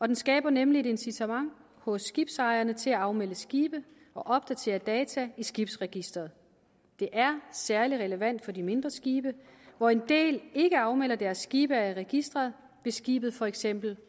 den skaber nemlig et incitament hos skibsejerne til at afmelde skibe og opdatere data i skibsregisteret det er særlig relevant for de mindre skibe hvor en del ikke afmelder deres skibe af registeret hvis skibet for eksempel